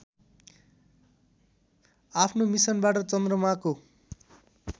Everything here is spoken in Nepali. आफ्नो मिसनबाट चन्द्रमाको